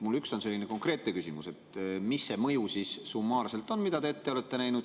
Mul on üks konkreetne küsimus: mis see mõju siis summaarselt on, mida te ette olete näinud?